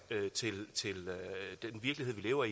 til den virkelighed vi lever